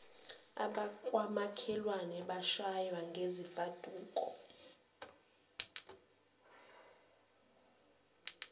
abangomakhelwane bamshaya ngezimfaduko